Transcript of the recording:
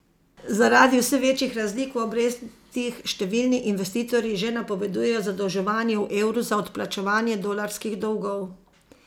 Zaradi vse večjih razlik v obrestih številni investitorji že napovedujejo zadolževanje v evru za odplačevanje dolarskih dolgov.